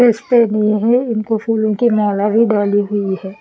इस पे उनको फूलों की माला भी डाली हुई है।